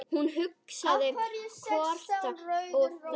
Hún hristi höfuðið og þagði.